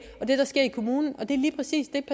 og det der sker i kommunen og det er lige præcis det